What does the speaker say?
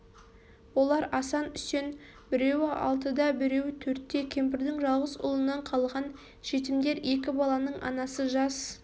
олар асан үсен біреуі алтыда біреуі төртте кемпірдің жалғыз ұлынан қалған жетімдер екі баланың анасы жас